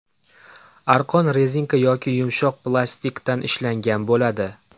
Arqon rezinka yoki yumshoq plastikdan ishlangan bo‘ladi.